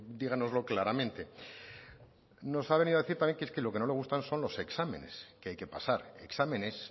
díganoslo claramente nos ha venido a decir también que es que lo que no le gusta son los exámenes que hay que pasar exámenes